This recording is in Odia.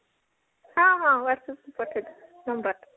ହଁ ହଁ whatsapp କୁ ପଠେଇ ଦେବି number ଟା